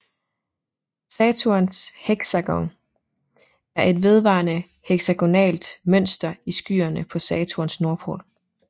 Saturns heksagon er et vedvarende heksagonalt mønster i skyene på Saturns nordpol